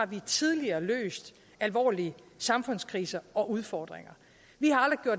vi tidligere har løst alvorlig samfundskriser og udfordringer